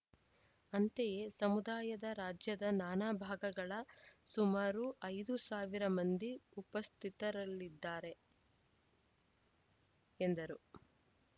ಅಂತೆಯೇ ಸಮುದಾಯದ ರಾಜ್ಯದ ನಾನಾ ಭಾಗಗಳ ಸುಮಾರು ಐದು ಸಾವಿರ ಮಂದಿ ಉಪಸ್ಥಿತರಿರಲಿದ್ದಾರೆ ಎಂದರು